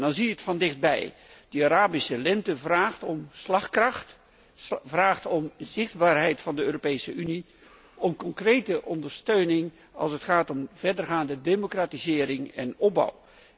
Dan zie je van dichtbij dat de Arabische Lente vraagt om slagkracht, om zichtbaarheid van de Europese Unie, om concrete ondersteuning als het gaat om verdergaande democratisering en opbouw.